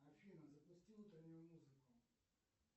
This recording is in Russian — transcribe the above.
афина запусти утреннюю музыку